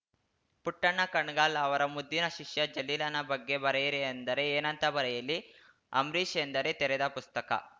ಪುಟ್ಟಣ್ಣ ಕಣಗಾಲ್‌ ಅವರ ಮುದ್ದಿನ ಶಿಷ್ಯ ಜಲೀಲನ ಬಗ್ಗೆ ಬರೆಯಿರಿ ಅಂದರೆ ಏನಂತ ಬರೆಯಲಿ ಅಂಬರೀಷ್‌ ಎಂದರೆ ತೆರೆದ ಪುಸ್ತಕ